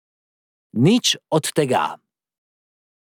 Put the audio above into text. Nič od tega.